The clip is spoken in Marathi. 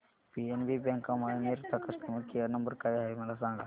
पीएनबी बँक अमळनेर चा कस्टमर केयर नंबर काय आहे मला सांगा